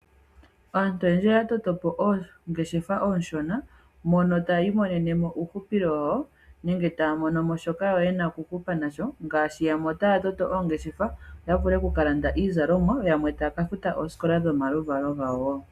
Aantu oyendji oya toto po oongeshefa oonshona mono tayi imonenemo uuhupilo wawo nenge taya monomo shoka yena okuhupa nasho ngaashi yamwe otaya toto oongeshefa yo yavule okukalanda iizalomwa yamwe taya ka futa oosikola yomaluvalo gawo.